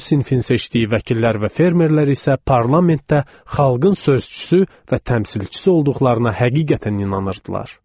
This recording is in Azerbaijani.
Bu sinfin seçdiyi vəkillər və fermerlər isə parlamentdə xalqın sözçüsü və təmsilçisi olduqlarına həqiqətən inanırdılar.